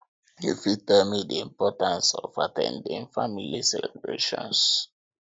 you fit tell me di importance of at ten ding family celebrations